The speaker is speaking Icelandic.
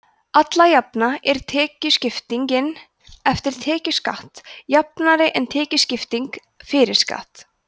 alla jafna er tekjuskiptingin „eftir tekjuskatt“ jafnari en tekjuskipting „fyrir skatt“